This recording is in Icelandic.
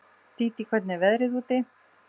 Dídí, hvernig er veðrið úti?